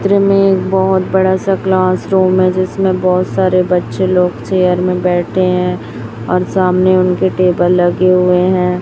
चित्र मे एक बहोत बड़ा सा क्लास रूम है जिसमें बहोत सारे बच्चे लोग चेयर में बैठे हैं और सामने उनके टेबल लगे हुए हैं।